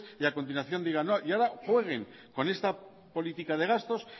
y a continuación digan no y ahora jueguen con esta política de gastos